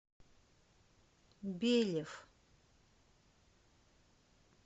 белев